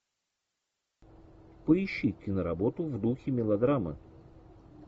поищи киноработу в духе мелодрамы